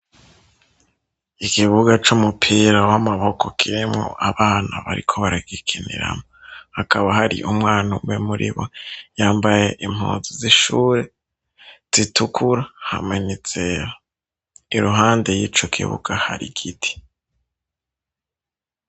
Ikibuga c'umupira w'amaboko kiremwo abana bariko baragikiniramo, hakaba hari umwana umwe muri bo yambaye impuzu z'ishure zitukura hamwe n'izera, iruhande y'ico kibuga hari giti.